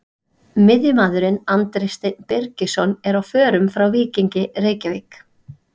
Miðjumaðurinn Andri Steinn Birgisson er á förum frá Víkingi Reykjavík.